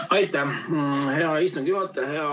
Aitäh, hea istungi juhataja!